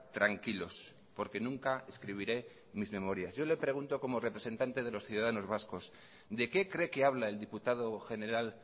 tranquilos porque nunca escribiré mis memorias yo le pregunto como representante de los ciudadanos vascos de qué cree que habla el diputado general